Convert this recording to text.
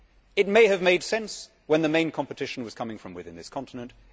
It may have made sense when the main competition was coming from within this continent.